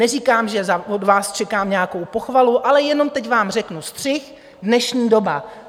Neříkám, že od vás čekám nějakou pochvalu, ale jenom teď vám řeknu: střih - dnešní doba.